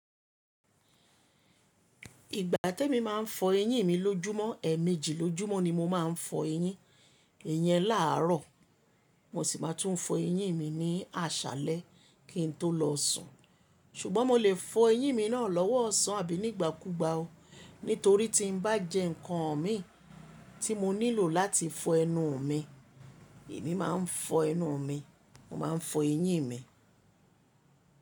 Ìgbà tí mo máa ń fọ eyín mi lójúmọ́, ẹẹmeji lójúmọ́ ni mo máa ń fọ eyín, iyẹn láààrọ̀ mo sì máa tún fọ eyín mi ní àṣálẹ́ kín tó lọ sùn. Ṣùgbọ́n mo lè fọ eyín mi náà lówó ọ̀sán àbí nígbàkúgbà o, nítorí tí n bá jẹ́ ǹkan mi tí mo nílò láti fọ ẹnu mi, èmi máa ń fọ ẹnu mi, mo máa ń fọ eyín mi.